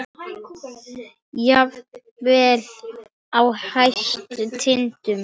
Jafnvel uppi á hæstu tindum.